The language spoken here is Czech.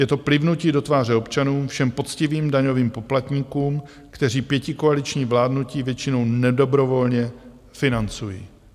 Je to plivnutí do tváře občanům, všem poctivým daňovým poplatníkům, kteří pětikoaliční vládnutí většinou nedobrovolně financují.